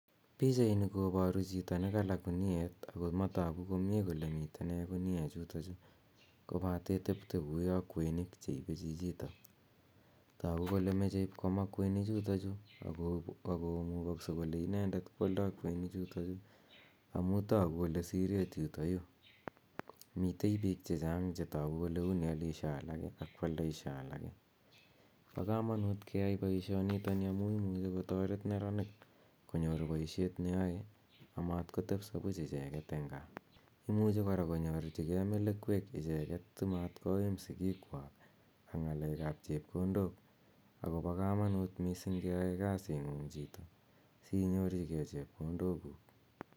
Pichaini koparu chito n ka la guniet ako matagu kole mitei nee guniechuto kopate tepia kou ya kweiniik che ipe chichitok. Tagu kole mache ipkomaa kweinichutochu ako mugagse kole inendet koaldai kweinichutochu amu tagu kole sireet yitayu. Mitei piik che chang' che tagu kole uni alishe alake ako aldaishe alake. Pa kamanut ke yai poishoni amu imuchi kotaret neraniik konyor poishet neyae amat kotepiso puuch icheget eng' gaa. Imuchi kora konyorchigei melekwek icheget kora simat koim sikiikwak ak ng,aleek ap chepkondok ako pa kamanuut missing' keyae kasit ng'ung' chito siinyorchigei chepkondokuuk.